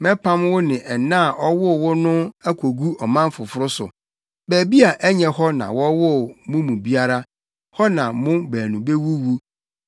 Mɛpam wo ne ɛna a ɔwoo wo no akogu ɔman foforo so, baabi a ɛnyɛ hɔ na wɔwoo mo mu biara, hɔ na mo baanu bewuwu.